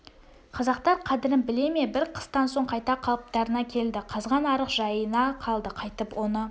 қазақтар қадірін біле ме бір қыстан соң қайта қалыптарына келді қазған арық жайына қалды қайтып оны